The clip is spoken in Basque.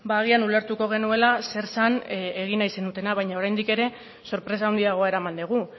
agian ulertuko genuela zer zen egin nahi zenutena baina oraindik ere sorpresa handiagoa eraman dugu